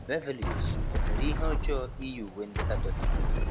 Beverly Osu, o mere ihe ọjọọ iyi uwe ndị Katọlik?